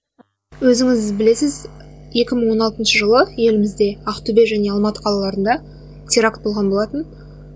өзіңіз білесіз екі мың он алтыншы жылы елімізде ақтөбе және алматы қалаларыңда теракт болған болатын